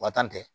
Wa tan tɛ